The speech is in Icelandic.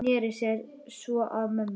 Sneri sér svo að mömmu.